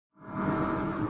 Var hann að tala um mig?